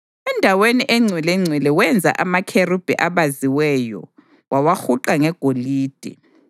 ENdaweni eNgcwelengcwele wenza amakherubhi abaziweyo wawahuqa ngegolide.